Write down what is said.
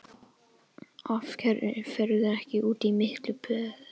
Af hverju ferðu ekki út í mjólkur- búð?